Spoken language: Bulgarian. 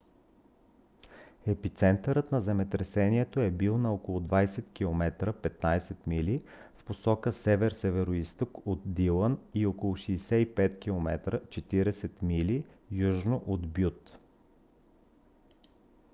епицентърът на земетресението е бил на около 20 км 15 мили в посока север-североизток от дилън и около 65 км 40 мили южно от бют